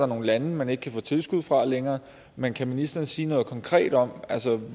nogle lande man ikke kan få tilskud fra længere men kan ministeren sige noget konkret om